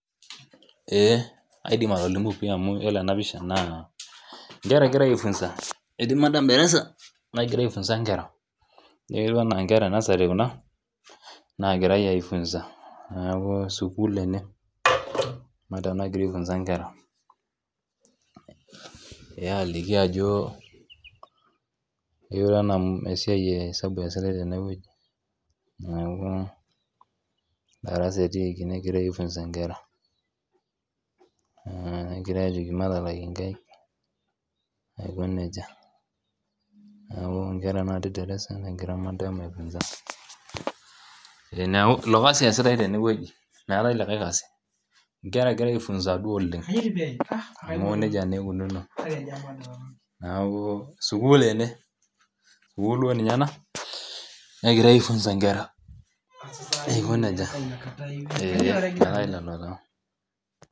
Eeh aidim atolimu pii amu yiolo ena pisha naa inkera egirae aifunza etii madam darasa nagira aifunza inkera ijio ketiu enaa inkera e nursery kuna nagirae aefunza neeku sukuul ene madam nagira aefunza inkera eh aliki ajo etiu enaa esiai e hesabu eesitae tenewueji neeku darasa etiiki negirae aefunza inkera mh egirae ajoki matalak inkaik aiko nejia niaku inkera natii cs]darasa negira madam aefunza eh neaku ilo kasi eesitae tenewueji meetae likae kasi inkera egirae aefunza duo oleng amu nejia naa ikununo naaku sukuul ene sukuul duo ninye ena negirae aefunza inkera aiko nejia eh metaa ilelo taa.